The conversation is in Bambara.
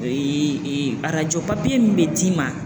arajo papiye min be d'i ma